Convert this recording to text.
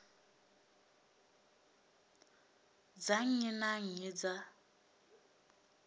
dza nnyi na nnyi dza